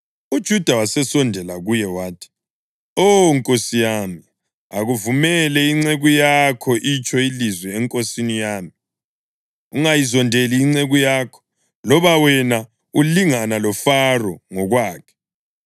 UJuda wasesondela kuye wathi, “Oh, nkosi yami, akuvumele inceku yakho itsho ilizwi enkosini yami. Ungayizondeli inceku yakho, loba wena ulingana loFaro ngokwakhe.